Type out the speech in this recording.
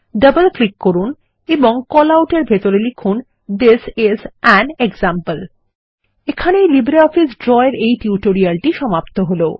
double click করুন এবং call out এর ভিতরে লিখুন থিস আইএস আন এক্সাম্পল এখানেই লিব্রিঅফিস ড্র এর এই টিউটোরিয়ালটি সমাপ্ত হল